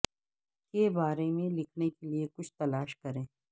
کے بارے میں لکھنے کے لئے کچھ تلاش کریں